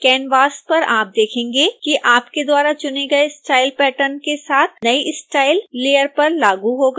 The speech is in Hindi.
कैनवास पर आप देखेंगे कि आपके द्वारा चुने गए स्टाइल पैटर्न के साथ नई स्टाइल लेयर पर लागू हो गई है